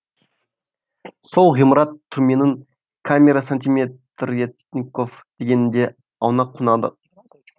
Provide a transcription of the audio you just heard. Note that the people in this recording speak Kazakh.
сол ғимарат түрменің камера сантиметрертников дегенінде аунап қунадық